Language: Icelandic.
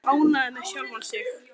Tóti var ánægður með sjálfan sig.